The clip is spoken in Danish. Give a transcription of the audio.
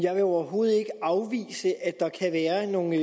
jeg vil overhovedet ikke afvise at der kan være nogle